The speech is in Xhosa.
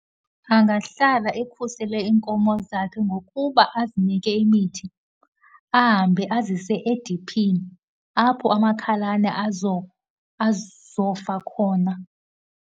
Angahlala ekhusele iinkomo zakhe ngokuba azinike imithi, ahambe azise ediphini, apho amakhalane azofa khona.